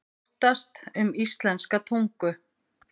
Óttast um íslenska tungu